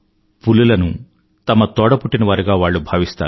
పులులను తమ తోడపుట్టినవారిగా వాళ్ళు భావిస్తారు